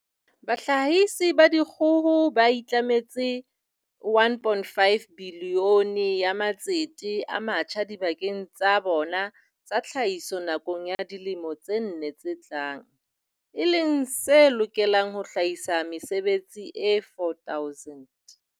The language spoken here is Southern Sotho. Bahlahisi ba dikgoho ba itlametse R1.5 bilione ya matsete a matjha dibakeng tsa bona tsa tlhahiso nakong ya dilemo tse nne tse tlang, e leng se lokelang ho hlahisa mesebetsi e 4 000.